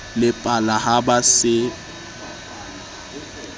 le pala ha ba se